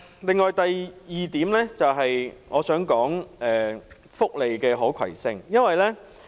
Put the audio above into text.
此外，第二點我想談的是福利可攜性。